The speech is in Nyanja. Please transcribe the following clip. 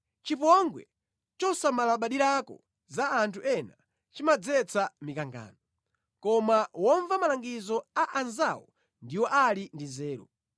Chipongwe chosamalabadirako za anthu ena chimadzetsa mikangano, koma womva malangizo a anzawo ndiwo ali ndi nzeru.